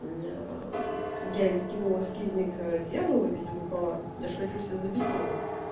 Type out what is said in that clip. я я ей скинула скизник дьявола в виде рукава я же хочу себе забить его